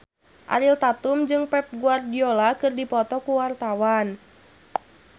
Ariel Tatum jeung Pep Guardiola keur dipoto ku wartawan